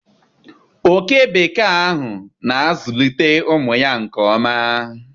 Oke bekee ahụ na-azụlite ụmụ ya nke ọma.